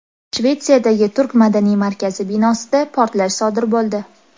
Shvetsiyadagi turk madaniy markazi binosida portlash sodir bo‘ldi.